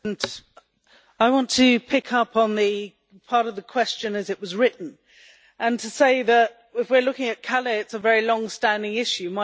Mr President, I want to pick up on the part of the question as it was written and to say that, if we are looking at Calais, it is a very longstanding issue.